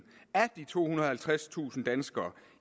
af de tohundrede og halvtredstusind danskere